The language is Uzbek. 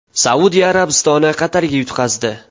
Saudiya Arabistoni Qatarga yutqazdi.